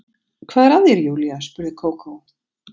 Hvað er að þér Júlía? spurði Kókó.